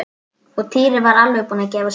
Og Týri var alveg búinn að gefast upp.